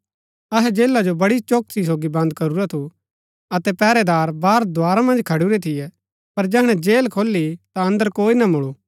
अहै जेला जो बड़ी चौकसी सोगी बन्द करूरा थू अतै पैहरैदार बाहर द्धारा मन्ज खडुरै थियै पर जैहणै जेल खोली ता अन्दर कोई ना मूळु